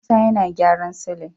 Musa yana gyaran silin